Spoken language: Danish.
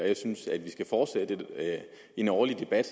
jeg synes at vi skal fortsætte med en årlig debat